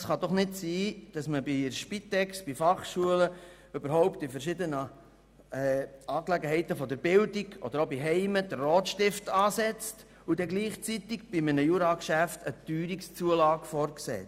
Es kann doch nicht sein, dass man bei der Spitex, bei Fachschulen oder überhaupt bei verschiedenen Institutionen der Bildung sowie bei Heimen den Rotstift ansetzt, und gleichzeitig bei einem Jura-Geschäft eine Teuerungszulage vorsieht.